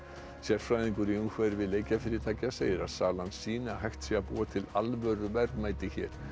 sérfræðingur í umhverfi leikjafyrirtækja segir að salan sýni að hægt sé að búa til alvöru verðmæti hér